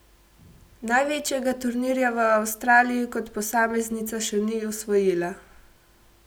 Največjega turnirja v Avstraliji kot posameznica še ni osvojila.